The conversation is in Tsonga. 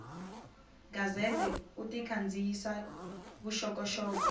gazette u ta kandziyisa vuxokoxoko